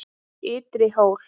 Ytri Hól